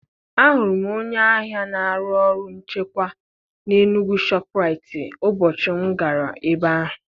Ahụrụ m onye agha na-arụ ọrụ nchekwa na Enugwu shọpụraitii ụbọchị m gara ebe ahụ.